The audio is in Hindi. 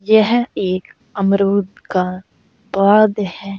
यह एक अमरूद का पौध है।